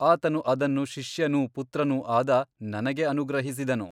ಆತನು ಅದನ್ನು ಶಿಷ್ಯನೂ ಪುತ್ರನೂ ಆದ ನನಗೆ ಅನುಗ್ರಹಿಸಿದನು.